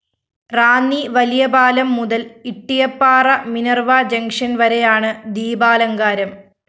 റാന്നി വലിയപാലം മുതല്‍ Ittiyappara Minerva junction‍ വരെയാണ് ദീപാലങ്കാരം